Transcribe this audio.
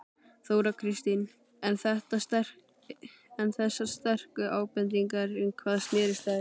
Þóra Kristín: En þessar sterku ábendingar um hvað snérust þær?